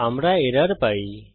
আমরা একটি এরর পাই